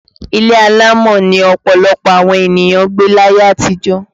Ilé alámọ̀ ni ọ̀pọ̀lọpọ̀ àwọn ènìyàn gbé láyé àtijó